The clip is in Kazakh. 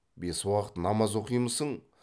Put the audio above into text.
бес уақыт намаз оқимысың